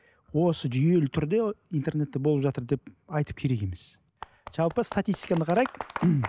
осы жүйелі түрде интернетте болып жатыр деп айтып керек емес жалпы статистиканы қарайық